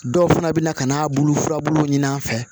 Dɔw fana bɛ na ka n'a bulu furabulu ɲini an fɛ